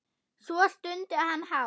Svo stundi hann hátt.